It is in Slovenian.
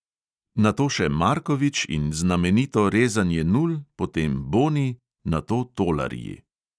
Nato še markovič in znamenito rezanje nul, potem boni, nato tolarji.